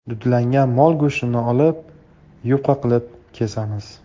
Dudlangan mol go‘shtini olib, yupqa qilib kesamiz.